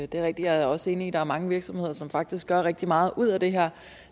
det er rigtigt og jeg er også enig i at der er mange virksomheder som faktisk gør rigtig meget ud af det her